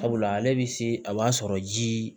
Sabula ale bɛ se a b'a sɔrɔ ji